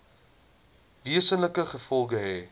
wesenlike gevolge hê